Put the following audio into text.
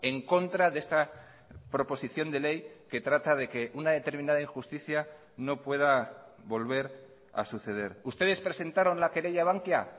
en contra de esta proposición de ley que trata de que una determinada injusticia no pueda volver a suceder ustedes presentaron la querella a bankia